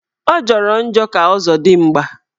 Ọ jọrọ njọ ka ọzọdigba